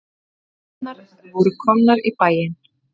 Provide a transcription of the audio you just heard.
Kvikmyndirnar voru komnar í bæinn.